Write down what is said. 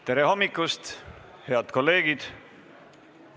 Tere hommikust, head kolleegid!